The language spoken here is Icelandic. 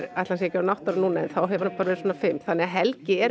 ætli hann sé ekki átta ára núna en þá hefur hann verið svona fimm þannig að Helgi er